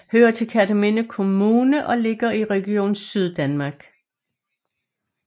Hører til Kerteminde Kommune og ligger i Region Syddanmark